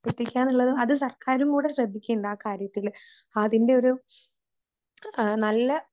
എത്തിക്കാന്നുള്ളത് അത് സർക്കാരുംകൂടി ശ്രെദ്ദിക്കേണ്ട ആ കാര്യത്തില് ആതിന്റൊരു ആ നല്ല